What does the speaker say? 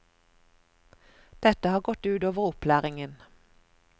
Dette har gått ut over opplæringen.